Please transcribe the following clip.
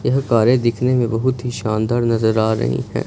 यह कारे दिखने में बहुत ही शानदार नजर आ रही हैं।